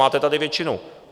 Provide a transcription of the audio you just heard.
Máte tady většinu.